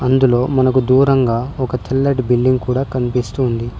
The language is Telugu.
అందులో మనకు దూరంగా ఒక తెల్లటి బిల్డింగ్ కనిపిస్తుంది.